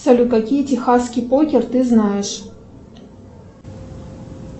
салют какие техасский покер ты знаешь